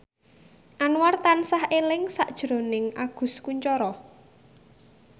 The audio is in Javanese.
Anwar tansah eling sakjroning Agus Kuncoro